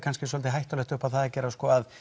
svolítið hættulegt upp á það að gera